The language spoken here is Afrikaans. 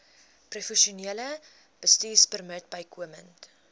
professionele bestuurpermit bykomend